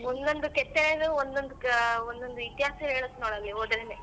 ಒಂದೊಂದು ಕೆತ್ತನೆನು ಒಂದೊಂದು ಕ~ ಒಂದೊಂದು ಇತಿಹಾಸ ಹೇಳತ್ತೆ ನೋಡು ಅಲ್ಲಿ ಹೋದ್ರೆನೆ.